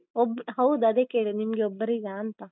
ಒಬ್ ಹೌದು ಅದೆ ಕೇಳಿದ್ದು ನಿಮ್ಗೊಬ್ಬರಿಗಾ ಅಂತ.